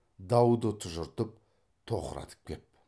дауды тұжыртып тоқыратып кеп